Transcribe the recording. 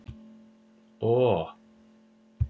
O